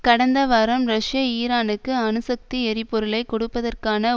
கடந்த வாரம் ரஷ்ய ஈரானுக்கு அணுசக்தி எரிபொருளை கொடுப்பதற்கான